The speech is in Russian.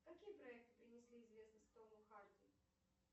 какие проекты принесли известность тому харди